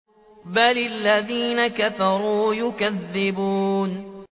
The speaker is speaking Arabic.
بَلِ الَّذِينَ كَفَرُوا يُكَذِّبُونَ